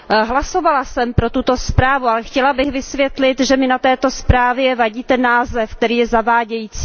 Hlasovala jsem pro tuto zprávu, ale chtěla bych vysvětlit, že mi na této zprávě vadí ten název, který je zavádějící.